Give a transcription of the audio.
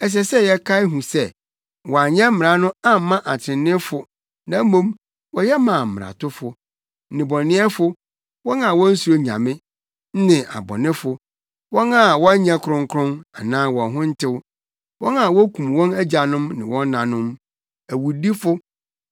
Ɛsɛ sɛ yɛkae hu sɛ wɔanyɛ mmara no amma atreneefo na mmom, wɔyɛ maa mmaratofo, nnebɔneyɛfo, wɔn a wonsuro Nyame ne abɔnefo, wɔn a wɔnyɛ kronkron anaa wɔn ho ntew, wɔn a wokum wɔn agyanom ne wɔn nanom, awudifo,